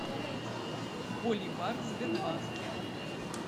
боливар в сбербанке